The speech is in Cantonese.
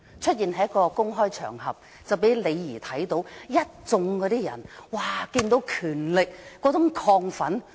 當時他在一個公開場合出現，李怡看到一眾人士"接近權力的亢奮"。